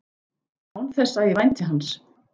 Án þess að ég vænti hans.